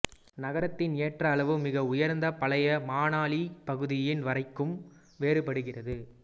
நகரத்தின் ஏற்ற அளவு மிக உயர்ந்த பழைய மணாலி பகுதியின் வரைக்கும் வேறுபடுகிறது